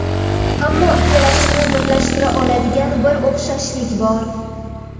Ammo ikkalasini birlashtira oladigan bir o‘xshashlik bor.